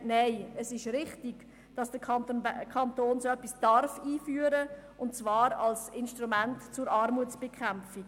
Nein, es ist richtig, dass der Kanton so etwas einführen darf – und zwar als Instrument zur Armutsbekämpfung.